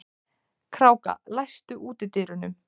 Kráka, læstu útidyrunum.